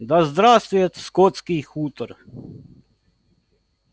да здравствует скотский хутор